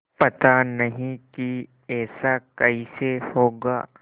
पता नहीं कि ऐसा कैसे होगा